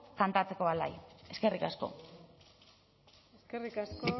kantatzeko alai eskerrik asko eskerrik asko